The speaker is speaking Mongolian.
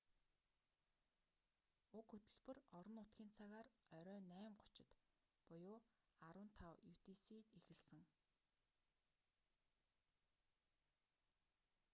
уг хөтөлбөр орон нутгийн цагаар оройн 8:30-д 15.00 utc эхэлсэн